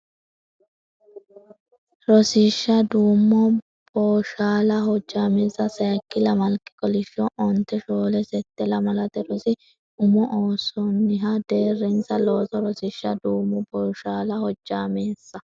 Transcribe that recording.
Rosiishsha duumo booshaala hojjaameessa sayikki lamalki kolishsho onte shoole sette Lamalate Rosi Umo Oosonniha Deerrinsa Looso Rosiishsha duumo booshaala hojjaameessa.